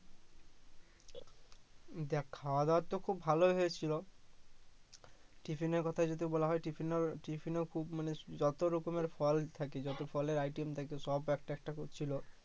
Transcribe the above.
দেখ খাওয়ার দাওয়ার তো খুব ভালো হছিলো টিফিনের কথা যদি বলা হয় টিফিনে টিফিনেও খুব মানে যত রকমের ফল থাকে যত ফলের item থাকে সব একটা একটা করে ছিলো